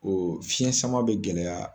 o fiɲɛsama bɛ gɛlɛya.